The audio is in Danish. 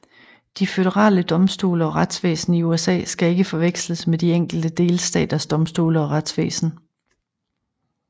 De føderale domstole og retsvæsen i USA skal ikke forveksles med de enkelte delstaters domstole og retsvæsen